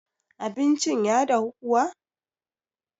abincin. ya dahu kuwa?